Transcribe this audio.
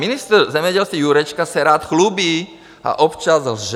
Ministr zemědělství Jurečka se rád chlubí a občas lže.